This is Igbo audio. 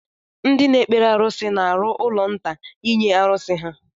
Ndị na-ekpere arusi na-arụ ụlọ nta nye arusi ha.